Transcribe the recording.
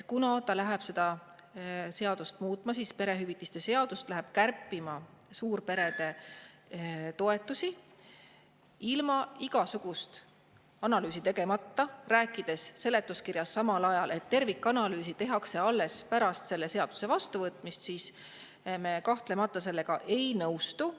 Kuna ta läheb seda perehüvitiste seadust muutma, läheb kärpima suurperede toetusi ilma igasugust analüüsi tegemata, rääkides samal ajal seletuskirjas, et tervikanalüüs tehakse alles pärast selle seaduse vastuvõtmist, siis me kahtlemata sellega ei nõustu.